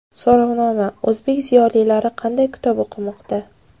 So‘rovnoma: O‘zbek ziyolilari qanday kitob o‘qimoqda?.